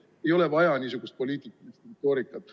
Ei ole vaja niisugust poliitilist retoorikat.